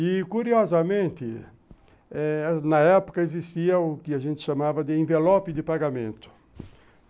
E, curiosamente eh, na época existia o que a gente chamava de envelope de pagamento.